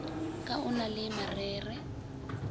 ka o na le marere